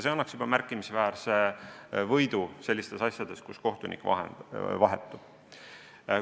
See annaks märkimisväärse võidu sellistes asjades, kus kohtunik vahetub.